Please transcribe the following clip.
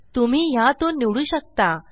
तुम्ही ह्यातून निवडू शकता